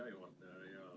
Hea juhataja!